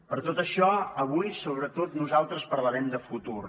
per tot això avui sobretot nosaltres parlarem de futur